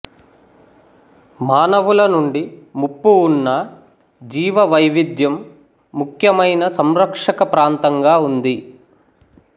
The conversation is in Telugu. మానవుల నుండి ముప్పు ఉన్న జీవవైవిధ్యం ముఖ్యమైన సంరక్షకప్రాంతంగా ఉంది